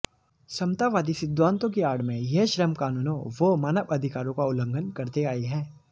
समतावादी सिद्धांतों की आड़ में यह श्रम कानूनों व मानवअधिकारों का उल्लंघन करते आये हैं